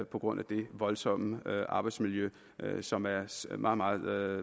på grund af det voldsomme arbejdsmiljø som er meget meget